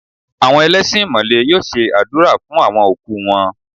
Àwọn ẹlẹ́sìn Ìmàlè yóò ṣe àdúrà fún àwon òkú wọn.